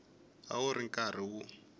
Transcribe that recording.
a wu ri karhi wu